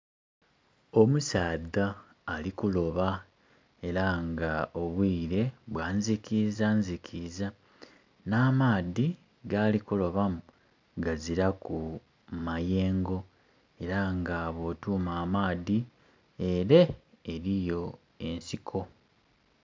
Omusaadha ali kuloba era nga obwire bwa nzikizanzikiza, n'amaadhi gali kulobamu gaziraku mayengo. Era nga bwotuuma amaadhi, ere eriyo ensiko.